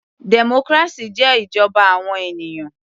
Democracy jẹ́ ìjọba àwọn ènìyàn.